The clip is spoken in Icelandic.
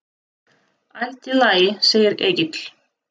Allt í lagi, segir Egill.